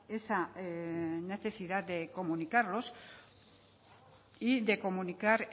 esa necesidad de comunicarnos y de comunicar